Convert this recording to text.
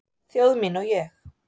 Þjóð mín og ég